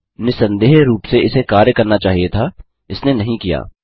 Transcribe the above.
निसंदेह रूप से इसे कार्य करना चाहिए था इसने नहीं किया